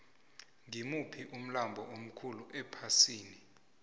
ngimuphi umlambo omkhulu ephasini